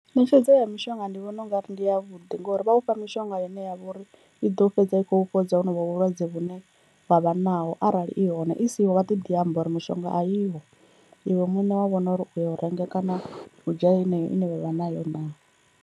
Ṋetshedzo ya mishonga ndi vhona ungari ndi ya vhuḓi ngori vha u fha mishonga ine ya vha uri i ḓo fhedza i khou fhodza honovho vhulwadze vhune wavha naho arali i hone i siho vha ḓo ḓi amba uri mishonga a iho iwe muṋe wa vhona uri uyo u renga kana u dzhia heneyo ine vhavha nayo naa.